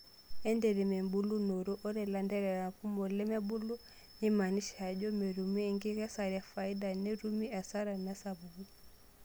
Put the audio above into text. Entemet embulunoto:Ore lanterera kumok lemebulu neimanisha ajo metumi enkikesare efaida netumi asara tesapuko.